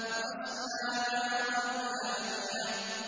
تَصْلَىٰ نَارًا حَامِيَةً